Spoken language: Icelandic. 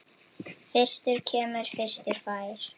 Fyrstur kemur, fyrstur fær!